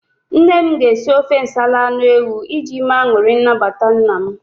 Nne m ga-esi ofe nsala anụ ewu iji mee anụrị nnabata nna m.